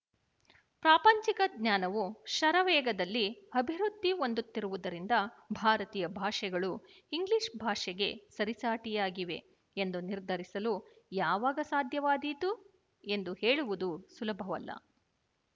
ಪ್ರಾಪಂಚಿಕ ಜ್ಞಾನವು ಶರವೇಗದಲ್ಲಿ ಅಭಿವೃದ್ಧಿ ಹೊಂದುತ್ತಿರುವುದರಿಂದ ಭಾರತೀಯ ಭಾಷೆಗಳು ಇಂಗ್ಲೀಶ ಭಾಷೆಗೆ ಸರಿಸಾಟಿಯಾಗಿವೆ ಎಂದು ನಿರ್ಧರಿಸಲು ಯಾವಾಗ ಸಾಧ್ಯವಾದೀತು ಎಂದು ಹೇಳುವುದು ಸುಲಭವಲ್ಲ